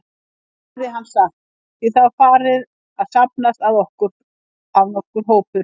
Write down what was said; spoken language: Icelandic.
heyrði hann sagt, því það var farinn að safnast að nokkur hópur.